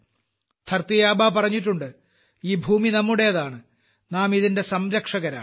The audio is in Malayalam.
ധർത്തി ആബാ പറഞ്ഞിട്ടുണ്ട് ഈ ഭൂമി നമ്മുടേതാണ് നാം ഇതിന്റെ സംരക്ഷകരാണ്